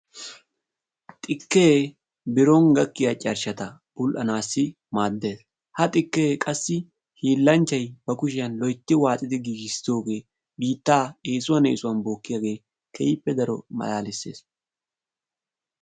xikee biron gakkiya carshata bul'anawu maades. ha xikee biitta biittaa eesuwan eesuwan bookkiyagee keehippe malaalisses.